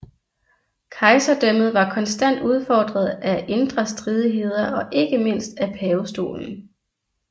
Kejserdømmet var konstant udfordret af indre stridigheder og ikke mindst af pavestolen